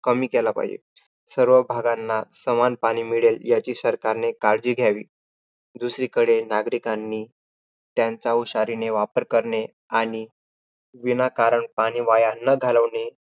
कमी केला पाहिजे. सर्व भागांना समान पाणी मिळेल, याची सरकारनी काळजी घावी. दुसरीकडे नागरिकांनी त्याचा हुशारीने वापर करणे आणि विनाकारण पाणी वाया न घालवणे,